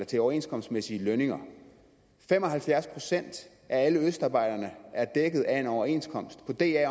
til overenskomstmæssige lønninger fem og halvfjerds procent af alle østarbejderne er dækket af en overenskomst på da